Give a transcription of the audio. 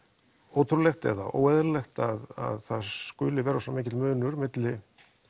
ótrúlegt eða óeðlilegt að það skuli vera svona mikill munur á milli